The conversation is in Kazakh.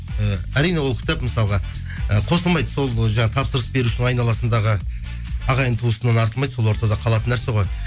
ііі әрине ол кітап мысалға і қосылмайды сол жаңағы тапсырыс берушінің айналасындағы ағайын туысынан артылмайды сол ортада қалатын нәрсе ғой